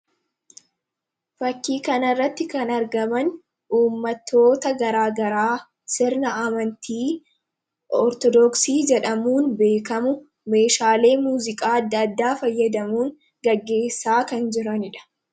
fakkii kana irratti kan argaman ummatoota garaagaraa sirna amantii ortodooksii jedhamuun beekamu meeshaalee muuziqaa adda addaa fayyadamuun gaggeessaa kan jiranidha